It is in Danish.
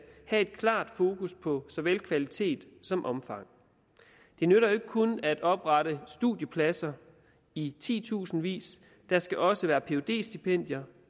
have et klart fokus på så vel kvalitet som omfang det nytter jo ikke kun at oprette studiepladser i titusindvis der skal også være phd stipendier